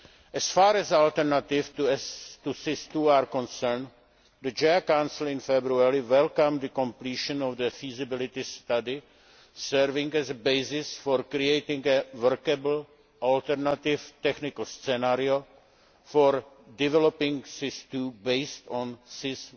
As far as an alternative to SIS II is concerned, the JHA Council in February welcomed the completion of the feasibility study serving as a basis for creating a workable, alternative technical scenario for developing SIS II based on